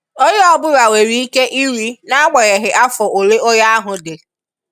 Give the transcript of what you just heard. onye ọbụla nwereike iri na-agbanyeghi afọ ọle onye ahụ dị.